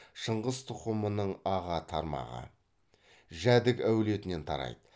шыңғыс тұқымының аға тармағы жәдік әулетінен тарайды